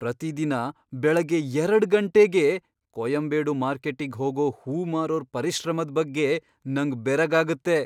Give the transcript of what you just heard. ಪ್ರತಿದಿನ ಬೆಳಗ್ಗೆ ಎರಡ್ ಗಂಟೆಗೇ ಕೊಯಂಬೇಡು ಮಾರ್ಕೆಟ್ಟಿಗ್ ಹೋಗೋ ಹೂವ್ ಮಾರೋರ್ ಪರಿಶ್ರಮದ್ ಬಗ್ಗೆ ನಂಗ್ ಬೆರಗಾಗತ್ತೆ.